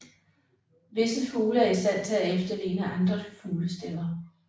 Visse fugle er i stand til at efterligne andre fuglestemmer